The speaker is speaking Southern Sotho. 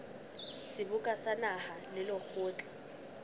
seboka sa naha le lekgotla